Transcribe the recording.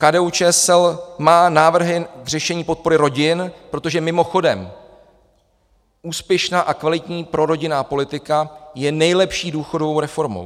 KDU-ČSL má návrhy k řešení podpory rodin, protože, mimochodem, úspěšná a kvalitní prorodinná politika je nejlepší důchodovou reformou.